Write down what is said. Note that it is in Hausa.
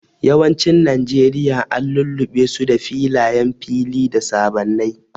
Yawancin Najeriya an lullube su da filayen fili da sabannai.